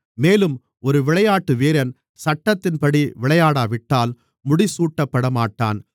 மேலும் ஒரு விளையாட்டு வீரன் சட்டத்தின்படி விளையாடாவிட்டால் முடிசூட்டப்படமாட்டான்